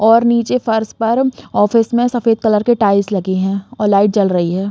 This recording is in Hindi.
और नीचे फर्श पर ऑफिस में सफ़ेद कलर की टाइल्स लगी हैं और लाइट जल रही है।